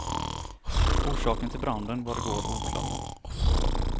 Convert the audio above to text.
Orsaken till branden var igår oklar.